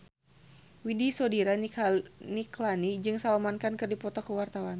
Widy Soediro Nichlany jeung Salman Khan keur dipoto ku wartawan